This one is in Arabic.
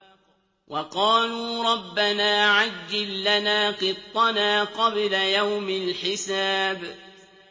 وَقَالُوا رَبَّنَا عَجِّل لَّنَا قِطَّنَا قَبْلَ يَوْمِ الْحِسَابِ